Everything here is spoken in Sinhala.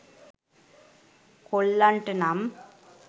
කොල්ලන්ට නම්